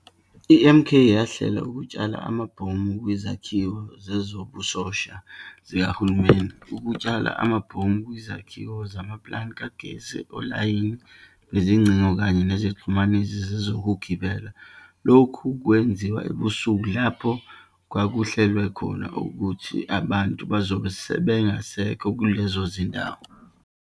I-MK yahlela ukutshala amabhomu kwizakhiwo zezobusosha zikahulumeni, ukutshala amabhomu kwizikhiwo zamaplanti kagesi, olayini bezingcingo, kanye nezixhumanisi zezokugibela, lokhu kwenziwa ebusuku, lapho kwakuhlelwe khona ukuthi abantu bazobe bengasekho kulezo zindawo.